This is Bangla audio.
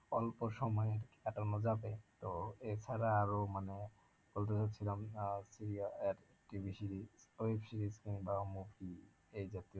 অল্প সময় কাটানো যাবে তো এছাড়া আরও মানে বলতে চাইছিলাম আহ TV series web series কিংবা movie এই জাতীয়